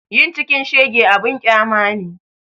Yin cikin shege abun ƙyama ne